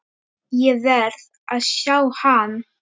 Ég verð að sjá hann.